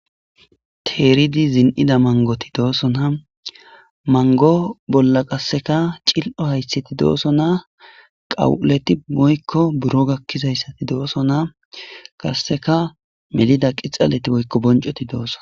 Teeridi zin'ida mangoti doosona mango bolla qasseka cil'o haysseti dooso naa qawu'uleti boykko buro gakkizayssati dooso naa qasseka melida qixaleti boykko boncoti dooso